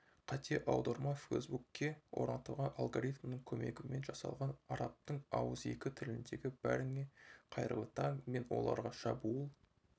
қате аударма фейсбукке орнатылған алгоритмның көмегімен жасалған арабтың ауызекі тіліндегі бәріңе қайырлы таң мен оларға шабуыл